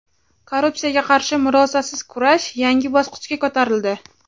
Korrupsiyaga qarshi murosasiz kurash yangi bosqichga ko‘tarildi.